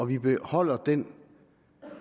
vi beholder den